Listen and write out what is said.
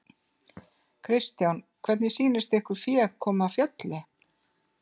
Kristján: Hvernig sýnist ykkur féð koma af fjalli?